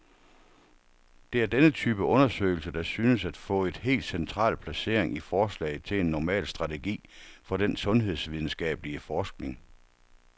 Det er denne type undersøgelser, der synes at få et helt central placering i forslaget til en normal strategi for den sundhedsvidenskabelig forskning.